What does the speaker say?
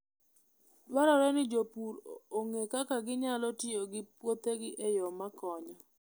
Dwarore ni jopur ong'e kaka ginyalo tiyo gi puothegi e yo makonyo.